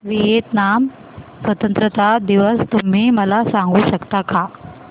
Vietnam स्वतंत्रता दिवस तुम्ही मला सांगू शकता का